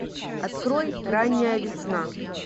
открой ранняя весна